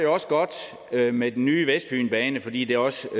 også godt med med den nye vestfynbane fordi det også